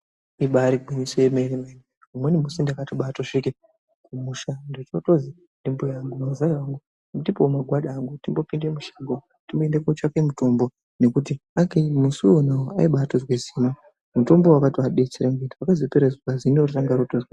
Ibaari gwinyiso remene umweni musi ndakatobaasvika kumusha ndochootozwi ndimbuya angu muzaya ndipoo magwada angu timbopinda mushango timboende kootsvake mutombo ngekuti musi wona uwowo aibatozwe zino mutombo wakatovabetsera pakapera zuva iroro zino ranga ratohina.